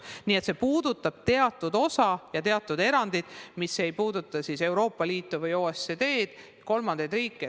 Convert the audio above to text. Nii et see puudutab teatud osa ja teatud erandeid, mis ei puuduta Euroopa Liitu või OECD-d, kolmandaid riike.